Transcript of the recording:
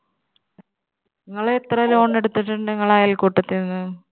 നിങ്ങള് എത്ര loan എടുത്തിട്ടുണ്ട് നിങ്ങളെ അയൽക്കൂട്ടത്തിൽനിന്ന്?